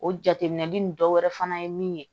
O jateminɛli nin dɔ wɛrɛ fana ye min ye